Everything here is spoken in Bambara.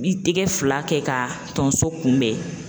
Ni tigɛ fila kɛ ka tonso kunbɛn